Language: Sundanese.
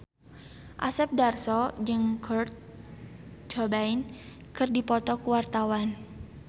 Asep Darso jeung Kurt Cobain keur dipoto ku wartawan